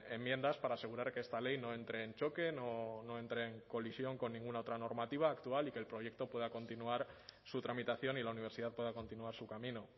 enmiendas para asegurar que esta ley no entre en choque no entre en colisión con ninguna otra normativa actual y que el proyecto pueda continuar su tramitación y la universidad pueda continuar su camino